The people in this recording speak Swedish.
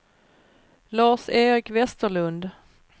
Lars-Erik Westerlund